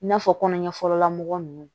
I n'a fɔ kɔnɔ ɲɛfɔlɔla mɔgɔ nunnu